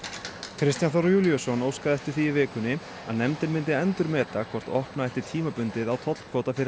Kristján Þór Júlíusson óskaði eftir því í vikunni að nefndin myndi endurmeta hvort opna ætti tímabundið á tollkvóta fyrir